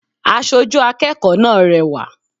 Asojú akẹ́kọ̀ọ́ náà rẹwà